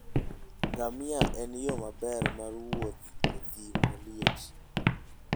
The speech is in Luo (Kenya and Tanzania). Ngamia en yo maber mar wuoth e thim maliet.